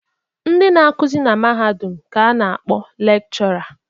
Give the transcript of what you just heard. Ndị na-akụzi na mahadum ka a na-akpọ lekshọra.